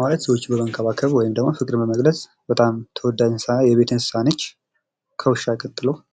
ማለት ሰዎችን በመንከባከብ ወይም ደግም ፍቅርን በመግለፅ በጣም ተወዳጅ የቤት እንስሳ ናት። ከውሻ ቀጥሎ